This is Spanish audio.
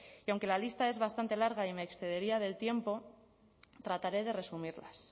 que aunque la lista es bastante larga y me excedería del tiempo trataré de resumirlas